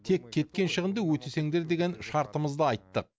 тек кеткен шығынды өтесеңдер деген шартымызды айттық